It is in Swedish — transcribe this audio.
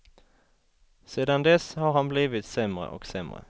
Sedan dess har han blivit sämre och sämre.